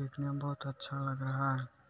देखने में बहुत अच्छा लग रहा है।